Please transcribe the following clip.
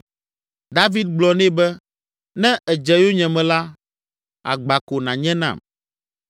David gblɔ nɛ be, “Ne èdze yonyeme la, agba ko nànye nam.